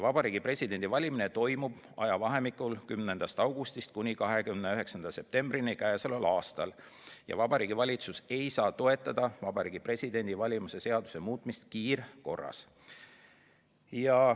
Vabariigi Presidendi valimine toimub k.a 10. augustist 29. septembrini ja Vabariigi Valitsus ei saa toetada Vabariigi Presidendi valimise seaduse muutmist kiirkorras.